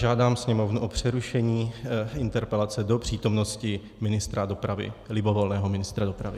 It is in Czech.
Žádám Sněmovnu o přerušení interpelace do přítomnosti ministra dopravy, libovolného ministra dopravy.